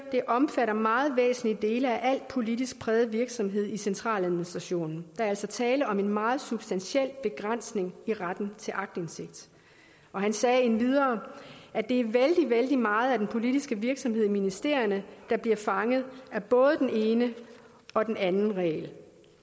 at den omfatter meget væsentlige dele af al politisk præget virksomhed i centraladministrationen er altså tale om en meget substantiel begrænsning i retten til aktindsigt han sagde endvidere at det er vældig vældig meget af den politiske virksomhed i ministerierne der bliver fanget af både den ene og den anden regel